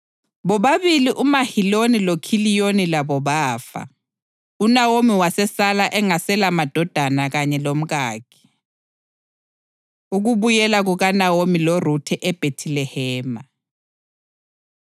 bobabili uMaheloni loKhiliyoni labo bafa, uNawomi wasesala engaselamadodana kanye lomkakhe. Ukubuyela KukaNawomi LoRuthe EBhethilehema